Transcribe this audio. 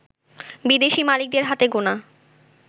বিদেশি মালিকদের হাতে গোনা